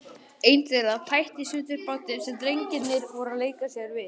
Ein þeirra tætti í sundur bátinn sem drengirnir voru að leika sér við.